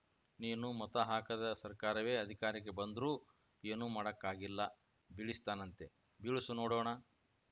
ನೀನು ಮತ ಹಾಕದ ಸರ್ಕಾರವೇ ಅಧಿಕಾರಕ್ಕೆ ಬಂದ್ರೂ ಏನೂ ಮಾಡಕ್ಕಾಗಿಲ್ಲ ಬೀಳಿಸ್ತಾನಂತೆ ಬೀಳ್ಸು ನೋಡೋಣ